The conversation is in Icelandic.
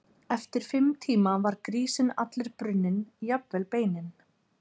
Eftir fimm tíma var grísinn allur brunninn, jafnvel beinin.